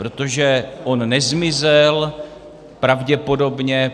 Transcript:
Protože on nezmizel pravděpodobně.